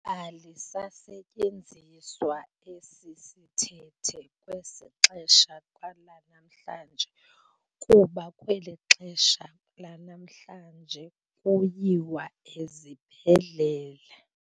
Alisasetyenziswa esi sithethe kwesi xesha lanamhlanje kuba kweli xesha lanamhlanje kuyiwa ezibhedlele.